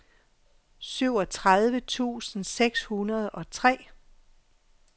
syvogtredive tusind seks hundrede og tre